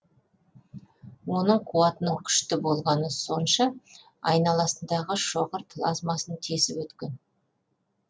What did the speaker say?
оның қуатының күшті болғаны сонша айналасындағы шоғыр плазмасын тесіп өткен